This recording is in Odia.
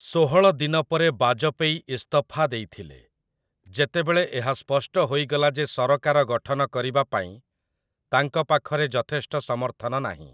ଷୋହଳ ଦିନ ପରେ ବାଜପେୟୀ ଇସ୍ତଫା ଦେଇଥିଲେ, ଯେତେବେଳେ ଏହା ସ୍ପଷ୍ଟ ହୋଇଗଲା ଯେ ସରକାର ଗଠନ କରିବା ପାଇଁ ତାଙ୍କ ପାଖରେ ଯଥେଷ୍ଟ ସମର୍ଥନ ନାହିଁ ।